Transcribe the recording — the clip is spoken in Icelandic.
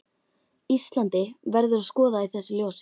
Íslandi, verður að skoða í þessu ljósi.